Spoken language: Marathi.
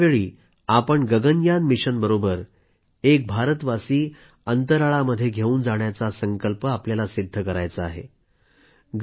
आणि त्यावेळी आपण गगनयान मिशनबरोबर एक भारतवासी अंतराळामध्ये घेवून जाण्याचा संकल्प सिद्ध करायचा आहे